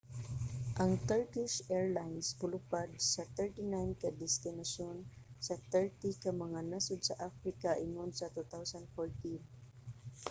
ang turkish airlines molupad sa 39 ka destinasyon sa 30 ka mga nasod sa africa ingon sa 2014